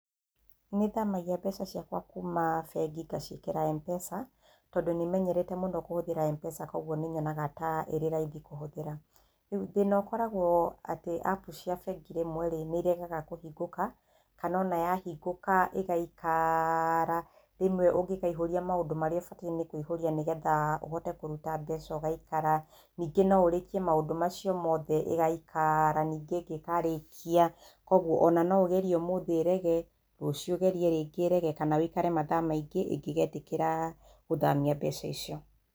Nĩ thamagia mbeca ciakwa kuma bengi ngaciĩkĩra M-Pesa, tondũ nĩ menyerete mũno kũhũthĩra M-Pesa kwoguo nĩ nyonaga ta ĩrĩ raithi kũhũthĩra. Rĩu thĩna ũkoragwo atĩ apu cia bengi rĩmwe rĩ, nĩ iregaga kũhingũka, kana o na yahingũka ĩgaikara, rĩmwe ũngĩkaihũria maũndũ marĩa ĩbatiĩ nĩ kũihũrĩa nĩgetha ũhote kũruta mbeca ũgaikara. Ningĩ no ũrĩkie maundũ macio mothe ĩgaikara ningĩ ĩngĩkarĩkia, kwoguo o na no ũgerie ũmũthĩ ĩrege, rũciĩ ũgerie rĩngĩ ĩrege, kana ũikare mathaa maingĩ ĩngĩgeetĩkĩra gũthamia mbeca icio.